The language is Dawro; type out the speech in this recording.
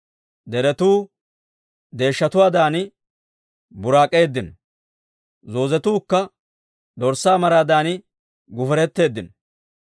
Deretuu deeshshatuwaadan buraak'eeddino; zoozetuukka dorssaa maraadan guferetteeddino.